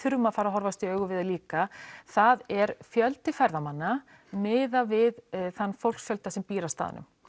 verðum að fara að horfast í augu við líka það er fjöldi ferðamanna miðað við þann fólksfjölda sem býr á staðnum